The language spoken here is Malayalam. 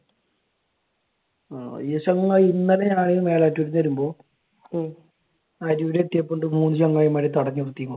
ആഹ് ചങ്ങായി ഇന്നലെ ഞാൻ മേലാറ്റൂർക്ക് വരുമ്പോ അരൂർ എത്തിയപ്പോഴുണ്ട് മൂന്ന് ചങ്ങായിമാരെ തടഞ്ഞ് നിർത്തിയേക്കണ്.